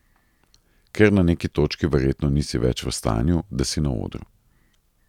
Ker na neki točki verjetno nisi več v stanju, da si na odru.